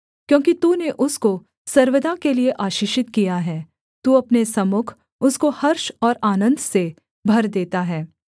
क्योंकि तूने उसको सर्वदा के लिये आशीषित किया है तू अपने सम्मुख उसको हर्ष और आनन्द से भर देता है